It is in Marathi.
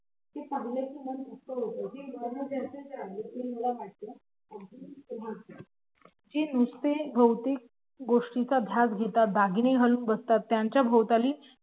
जे नुसते भोवतीक गोष्टींचा ध्यास घेतात दागिने लेवून बसतात